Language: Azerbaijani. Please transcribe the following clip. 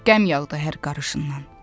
Qəm yağdı hər qarışından.